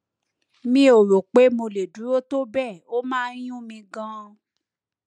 mi ò rò pé mo lè dúró tó bẹẹ ó máa ń yún mí ganan